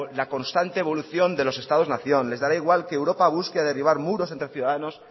la constante evolución de los estados nación les dará igual que europa busque derribar muros entre ciudadanos